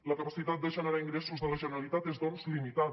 la capacitat de generar ingressos de la generalitat és doncs limitada